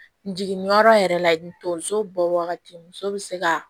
N jiginni yɔrɔ yɛrɛ la n tonso bɔ wagati muso bɛ se ka